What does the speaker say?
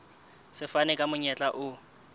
se fana ka monyetla o